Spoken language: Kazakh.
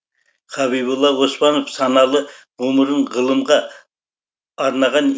хабиболла оспанов саналы ғұмырын ғылымға арнаған